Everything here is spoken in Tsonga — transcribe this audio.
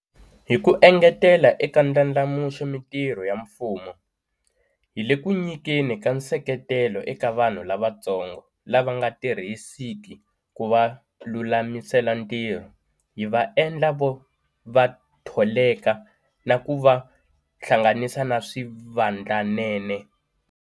Hi ku engetela eka ndlandlamuxa mitirho ya mfumo, hi le ku nyikeni ka nseketelo eka vanhu lavantsongo lava nga tirhisiki ku va lulamisela ntirho, hi va endla va tholeka na ku va hlanganisa na swivandlanene.